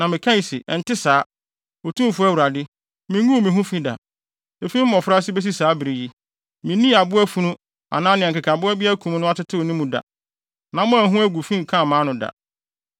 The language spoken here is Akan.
Na mekae se, “Ɛnte saa, Otumfo Awurade! Minguu me ho fi da. Efi me mmofraase besi saa bere yi, minnii aboa funu anaa nea nkekaboa bi akum no atetew ne mu da. Nam a ɛho agu fi nkaa mʼano da.”